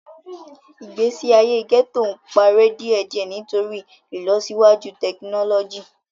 Igbesi aye gẹto n parẹ diẹdiẹ nitori ilosiwaju tekinọlọji.